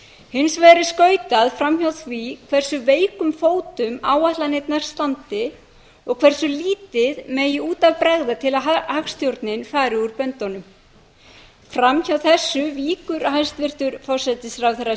hins vegar er skautað fram hjá því á hversu veikum fótum áætlanirnar standi og hversu lítið megi út af bregða til að hagstjórnin fari úr böndunum fram hjá þessu víkur hæstvirtur forsætisráðherra